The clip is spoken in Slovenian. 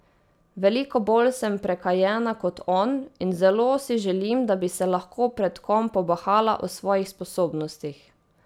Veliko bolj sem prekanjena kot on in zelo si želim, da bi se lahko pred kom pobahala o svojih sposobnostih.